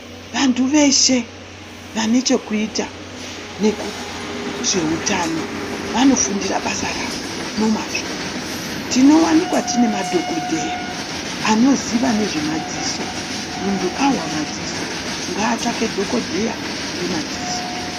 Vantu veshe vanechekuyita nezvewutano, vanofundira basa rawo nomazvo. Tinowanikwa tinemadhokodheya anoziva nezvemadziso. Muntu awa madziso, ngatsvake dhokodheya wemadziso.